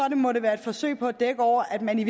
må det være et forsøg på at dække over at man i